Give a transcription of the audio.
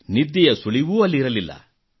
ನಿದ್ದೆಯ ಸುಳಿವೂ ಅಲ್ಲಿರಲಿಲ್ಲ